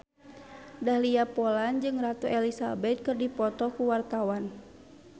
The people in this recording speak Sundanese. Dahlia Poland jeung Ratu Elizabeth keur dipoto ku wartawan